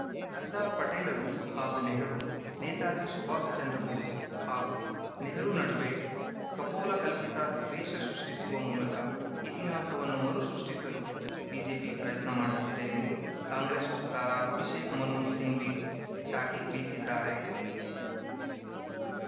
ಸರ್ದಾರ್‌ ಪಟೇಲರು ಹಾಗೂ ನೆಹರು ನೇತಾಜಿ ಸುಭಾಷ್‌ ಚಂದ್ರ ಬೋಸ್‌ ಹಾಗೂ ನೆಹರು ನಡುವೆ ಕಪೋಲಕಲ್ಪಿತ ದ್ವೇಷ ಸೃಷ್ಟಿಸುವ ಮೂಲಕ ಇತಿಹಾಸವನ್ನು ಮರುಸೃಷ್ಟಿಸಲು ಬಿಜೆಪಿ ಪ್ರಯತ್ನ ಮಾಡುತ್ತಿದೆ ಎಂದು ಕಾಂಗ್ರೆಸ್‌ ವಕ್ತಾರ ಅಭಿಷೇಕ್‌ ಮನು ಸಿಂಘ್ವಿ ಚಾಟಿ ಬೀಸಿದ್ದಾರೆ